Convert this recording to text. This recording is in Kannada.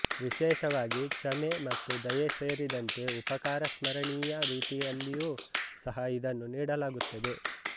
ವಿಶೇಷವಾಗಿ ಕ್ಷಮೆ ಮತ್ತು ದಯೆ ಸೇರಿದಂತೆ ಉಪಕಾರ ಸ್ಮರಣೀಯ ರೀತಿಯಲ್ಲಿಯೂ ಸಹ ಇದನ್ನು ನೀಡಲಾಗುತ್ತದೆ